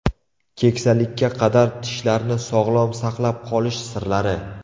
Keksalikka qadar tishlarni sog‘lom saqlab qolish sirlari.